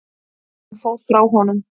Hann fór frá honum.